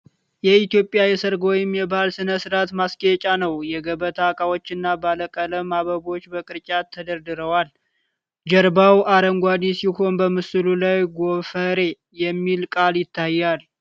የኢትዮጵያ የሠርግ ወይም የባህል ሥነ ሥርዓት ማስጌጫ ነው። የገበታ ዕቃዎችና ባለቀለም አበቦች በቅርጫት ተደርድረዋል። ጀርባው አረንጓዴ ሲሆን በምስሉ ላይ "ጐፈሬ" የሚል ቃል ይታያል።